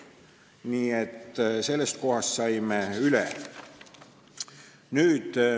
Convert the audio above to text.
Nii et sellest kohast me saime üle.